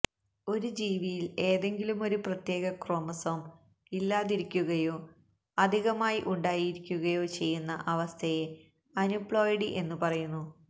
ഒരു ജീവിയിൽ ഏതെങ്കിലുമൊരു പ്രത്യേക ക്രോമസോം ഇല്ലാതിരിക്കുകയോ അധികമായി ഉണ്ടായിരിക്കുകയോ ചെയ്യുന്ന അവസ്ഥയെ അന്യൂപ്ലോയിഡി എന്നു പറയുന്നു